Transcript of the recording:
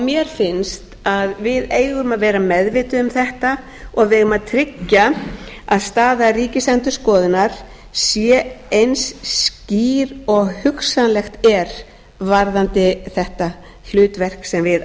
mér finnst að við eigum að vera meðvituð um þetta og við eigum að tryggja að staða ríkisendurskoðunar sé eins skýr og hugsanlegt er varðandi þetta hlutverk sem við